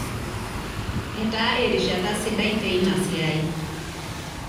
Etaa erishata sidai teina siai.